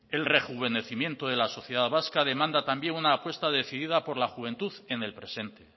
el rejuvenecimiento de la sociedad vasca demanda también una apuesta decidida por la juventud en el presente